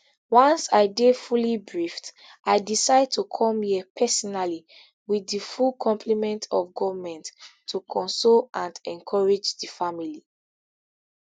once i dey fully briefed i decide to come here personally with di full complement of goment to console and encourage di family